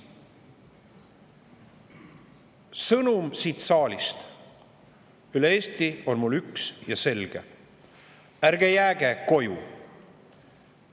Sõnum siit saalist üle Eesti on mul üks ja selge: ärge jääge koju!